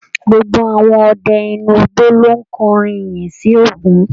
Gbogbo àwọn ọdẹ inú igbó lo kọrin iyìn sí ògún.